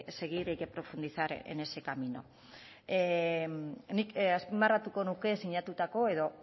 seguir y que profundizar en ese camino nik azpimarratuko nuke sinatutako edo